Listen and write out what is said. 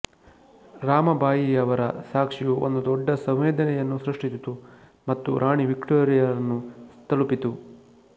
ರಾಮಬಾಯಿಯವರ ಸಾಕ್ಷಿಯು ಒಂದು ದೊಡ್ಡ ಸಂವೇದನೆಯನ್ನು ಸೃಷ್ಟಿಸಿತು ಮತ್ತು ರಾಣಿ ವಿಕ್ಟೋರಿಯಾರನ್ನು ತಲುಪಿತು